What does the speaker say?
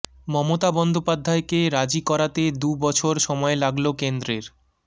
মমতা বন্দ্যোপাধ্যায়কে রাজি করাতে দু বছর সময় লাগল কেন্দ্রের